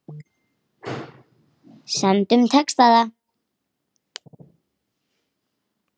Stundum tekst það.